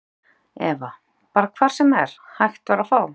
Eva: Bara hvar sem er, hægt var að fá?